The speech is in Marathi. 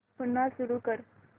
पुन्हा सुरू कर